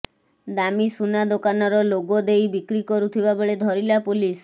ଦାମୀ ସୁନା ଦୋକାନର ଲୋଗୋ ଦେଇ ବିକ୍ରି କରୁଥିବା ବେଳେ ଧରିଲା ପୋଲିସ